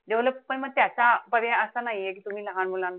Development म त्याचा पर्याय असा नाहीये कि तुम्ही लहान मुलांना,